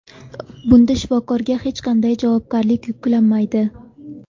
Bunda shifokorga hech qanday javobgarlik yuklanmaydi.